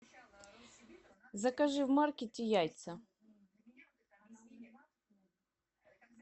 закажи в маркете яйца